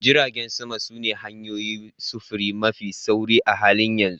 Jiragen sama sune hanyoyin sufuri mafi sauri a halin yanzu